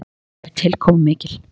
Hún er tilkomumikil.